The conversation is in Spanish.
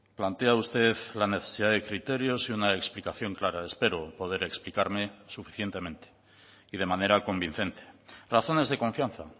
plantea usted la necesidad de criterios y una explicación clara espero poder explicarme suficientemente y de manera convincente razones de confianza